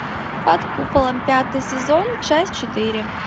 под куполом пятый сезон часть четыре